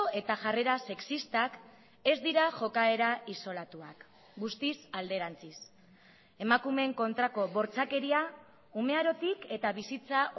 eta jarrera sexistak ez dira jokaera isolatuak guztiz alderantziz emakumeen kontrako bortxakeria umearotik eta bizitza